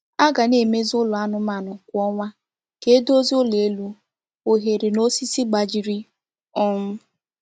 A ga na-emezi ụlọ anụmanụ kwa ọnwa ka e dozie ụlọ elu, oghere na osisi gbajiri um